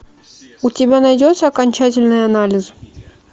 у тебя найдется окончательный анализ